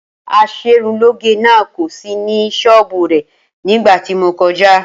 As̩erunlóge náà kò sí ní s̩ó̩ò̩bù rè̩ nígbà tí mo ko̩já